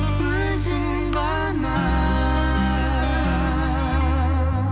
өзің ғана